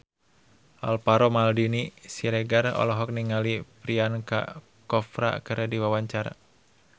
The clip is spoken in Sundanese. Alvaro Maldini Siregar olohok ningali Priyanka Chopra keur diwawancara